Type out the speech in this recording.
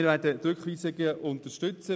Wir werden die Rückweisungen unterstützen.